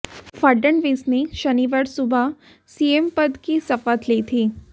फडणवीस ने शनिवार सुबह सीएम पद की शपथ ली थी